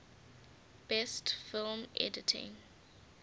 best film editing